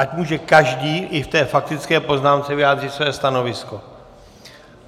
Ať může každý i v té faktické poznámce vyjádřit své stanovisko.